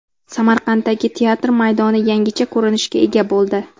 Samarqanddagi teatr maydoni yangicha ko‘rinishga ega bo‘ldi.